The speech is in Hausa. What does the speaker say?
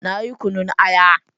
Na yi kunyun aya.